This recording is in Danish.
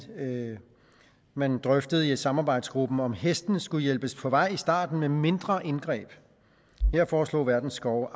man drøftede i samarbejdsgruppen om hestene skulle hjælpes på vej i starten med mindre indgreb her foreslog verdens skove